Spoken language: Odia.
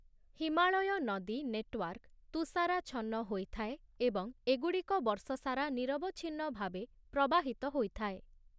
ହିମାଳୟ ନଦୀ ନେଟୱାର୍କ ତୁଷାରାଚ୍ଛନ୍ନ ହୋଇଥାଏ ଏବଂ ଏଗୁଡ଼ିକ ବର୍ଷସାରା ନିରବଚ୍ଛିନ୍ନ ଭାବେ ପ୍ରବାହିତ ହୋଇଥାଏ ।